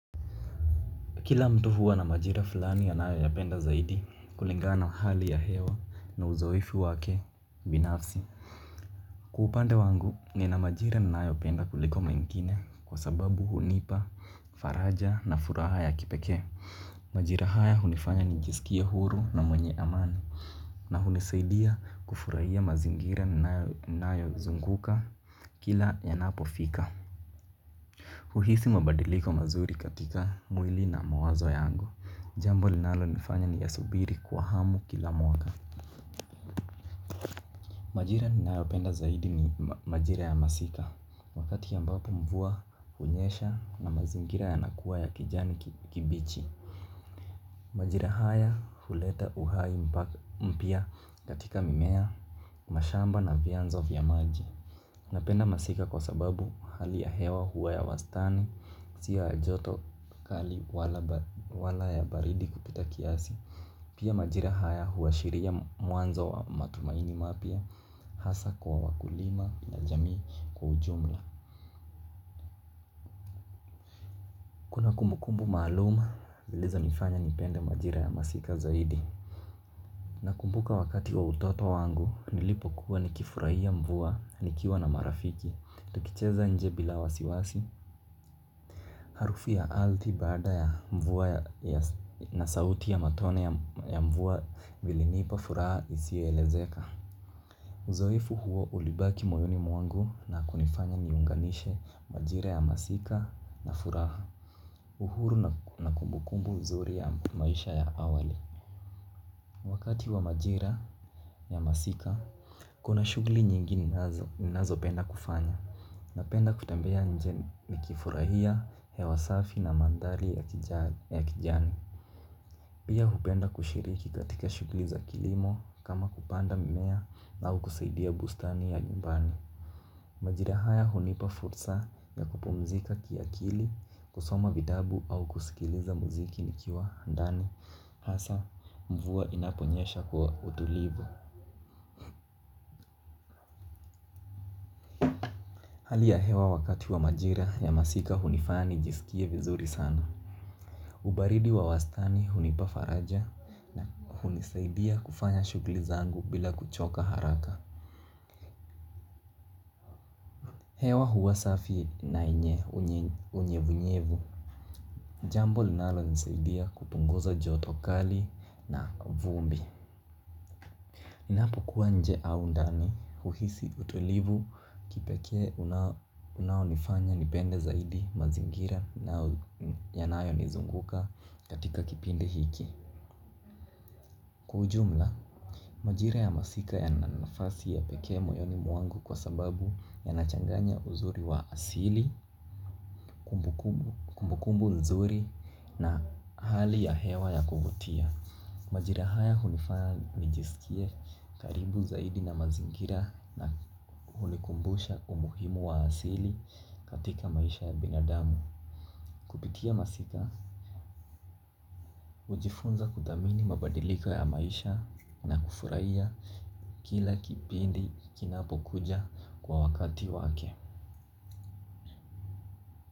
Kila mtu huwa na majira fulani anayoyapenda zaidi kulingana na hali ya hewa na uzoefu wake binafsi. Kwa upande wangu nina majira ninayopenda kuliko mengine kwa sababu hunipa, faraja na furaha ya kipekee. Majira haya hunifanya nijisikie huru na mwenye amani na hunisaidia kufurahia mazingira ninayozunguka kila yanapofika. Uhisi mabadiliko mazuri katika mwili na mawazo yangu. Jambo linalonifanya niyasubiri kwa hamu kila mwaka. Majira ninayopenda zaidi ni majira ya masika. Wakati ambapo mvua hunyesha na mazingira yanakuwa ya kijani kibichi. Majira haya huleta uhai mpya katika mimea, mashamba na vyanzo vya maji. Napenda masika kwa sababu hali ya hewa huwa ya wastani, sio ya joto kali wala ya baridi kupita kiasi. Pia majira haya huashiria mwanzo wa matumaini mapya, hasa kwa wakulima na jamii kwa ujumla. Kumbu maalumu zilizonifanya nipende majira ya masika zaidi. Nakumbuka wakati wa utoto wangu, nilipokuwa nikifurahia mvua, nikiwa na marafiki. Tukicheza nje bila wasiwasi. Harufu ya ardhi baada ya mvua na sauti ya matone ya mvua vilinipa furaha isiyoelezeka. Uzoefu huo ulibaki moyoni mwangu na kunifanya niunganishe majira ya masika na furaha. Uhuru na kumbukumbu nzuri ya maisha ya awali. Wakati wa majira ya masika, kuna shughuli nyingi ninazopenda kufanya. Napenda kutembea nje nikifurahia hewa safi na mandhari ya kijani. Pia hupenda kushiriki katika shughuli za kilimo kama kupanda mimea au kusaidia bustani ya nyumbani. Majira haya hunipa fursa ya kupumzika kiakili, kusoma vitabu au kusikiliza muziki nikiwa ndani, hasa mvua inaponyesha kwa utulivu. Hali ya hewa wakati wa majira ya masika hunifanya nijisikie vizuri sana. Ubaridi wa wastani hunipa faraja, hunisaidia kufanya shughuli zangu bila kuchoka haraka. Hewa huwa safi na yenye unyevunyevu. Jambo linalonisaidia kupunguza joto kali na vumbi. Ninapokuwa nje au ndani, huhisi utulivu kipekee unaonifanya nipende zaidi mazingira yanayonizunguka katika kipindi hiki. Kwa ujumla, majira ya masika yana nafasi ya pekee moyoni mwangu kwa sababu yanachanganya uzuri wa asili, kumbukumbu nzuri na hali ya hewa ya kuvutia. Majira haya hunifanya nijisikie karibu zaidi na mazingira na hunikumbusha umuhimu wa asili katika maisha ya binadamu. Kupitia masika, hujifunza kuthamini mabadiliko ya maisha na kufurahia kila kipindi kinapokuja kwa wakati wake.